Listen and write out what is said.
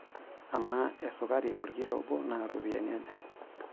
Amaa esukari olkilo obo naa ropiyiani aja?